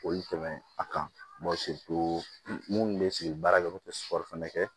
O ye tɛmɛ a kan minnu bɛ baara kɛ olu tɛ fana kɛ